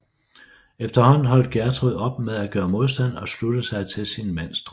Efterhånden holdt Gjertrud op med at gøre modstand og sluttede sig til sin mands drøm